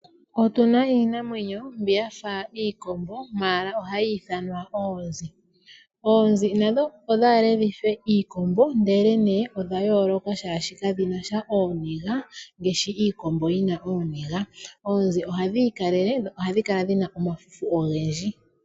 Otuna iinamwenyo mbi yafa iikombo ashike ohayi ithanwa oonzi. Oonzi nadho odhale dhife iikombo ndele odha yooloka shaashi kadhinasha ooniga ngaashi iikombo yina ooniga. Oonzi ohadhi ikalele dho ohadhi kala dhina omafufu ogendji.